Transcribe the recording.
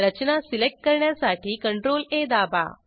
रचना select करण्यासाठी CTRLA दाबा